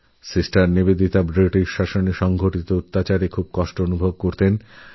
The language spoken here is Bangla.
সিস্টার নিবেদিতা বৃটিশ রাজের অত্যাচারীশাসনে ভীষণ কষ্ট পেতেন